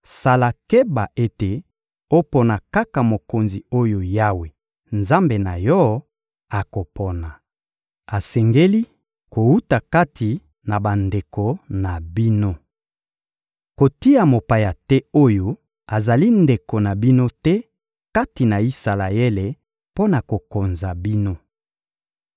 sala keba ete opona kaka mokonzi oyo Yawe, Nzambe na yo, akopona. Asengeli kowuta kati na bandeko na bino. Kotia mopaya te oyo azali ndeko na bino te kati na Isalaele mpo na kokonza bino.